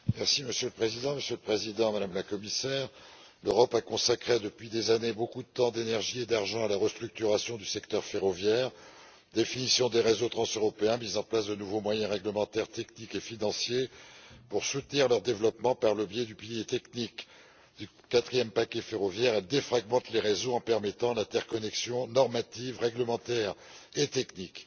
Monsieur le Président, Monsieur le Président, Madame la Commissaire, l'Europe a consacré depuis des années beaucoup de temps, d'énergie et d'argent à la restructuration du secteur ferroviaire définition des réseaux transeuropéens, mise en place de nouveaux moyens réglementaires, techniques et financiers pour soutenir leur développement et, par le biais du pilier technique du quatrième paquet ferroviaire, défragmentation des réseaux par l'interconnexion normative, réglementaire et technique.